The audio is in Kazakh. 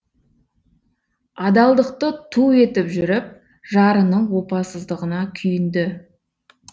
адалдықты ту етіп жүріп жарының опасыздығына күйінді